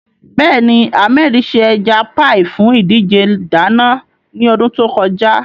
Bẹ́ẹ̀ni, Ahmed ṣe ẹja páì fún ìdíje ìdáná ní ọdún tó kọjá.